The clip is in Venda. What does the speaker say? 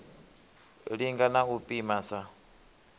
linga na u pima sa